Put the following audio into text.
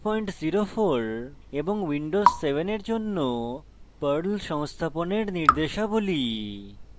ubuntulinux 1204 এবং windows 7 এর জন্য perl সংস্থাপনের নির্দেশাবলী